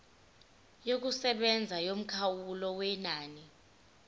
yokusebenza yomkhawulo wenani